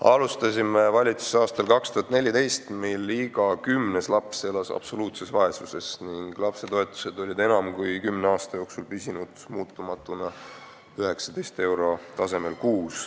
Alustasime valitsuses aastal 2014, mil iga kümnes laps elas absoluutses vaesuses ning lapsetoetus oli enam kui kümne aasta jooksul püsinud muutumatuna 19 eurot kuus.